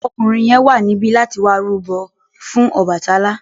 Ọkùnrin yẹn wà níbí láti wá rúbọ fún Ọbàtálá.